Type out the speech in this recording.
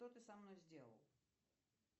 что ты со мной сделал